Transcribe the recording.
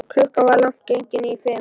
Klukkan var langt gengin í fimm.